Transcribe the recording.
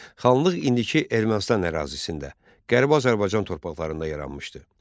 Xanlıq indiki Ermənistan ərazisində, Qərbi Azərbaycan torpaqlarında yaranmışdı.